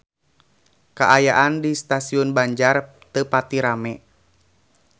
Kaayaan di Stasiun Banjar teu pati rame